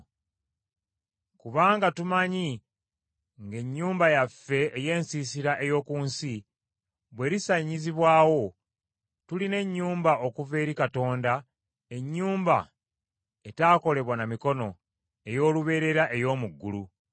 Kubanga tumanyi ng’ennyumba yaffe ey’ensiisira ey’oku nsi bw’erisaanyizibwawo, tulina ennyumba okuva eri Katonda, ennyumba etaakolebwa na mikono, ey’olubeerera ey’omu ggulu.